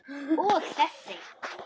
Og þessi?